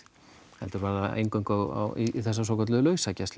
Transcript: heldur var það eingöngu á í þessa svokölluðu